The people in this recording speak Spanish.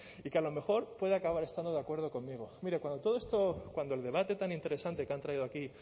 y que a lo mejor puede acabar estando de acuerdo conmigo mire cuando todo esto cuando el debate tan interesante que han traído aquí